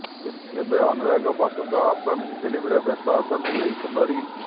ଏବେ ଅନୁରାଗ ବାସୁଙ୍କ ଅପ୍କମିଙ୍ଗ ଫିଲ୍ମରେ ବ୍ୟସ୍ତ ଅଛନ୍ତି ଏହି ସୁନ୍ଦରୀ